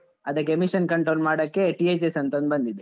ಅದಕ್ಕೆ emission control ಮಾಡಕೆ, THS ಅಂತ ಒಂದು ಬಂದಿದೆ.